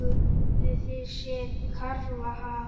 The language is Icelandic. Hafið þið séð karfa, ha?